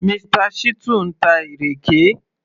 Mr. Shittu ń ta ìrèké